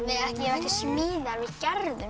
ekki smíðað við gerðum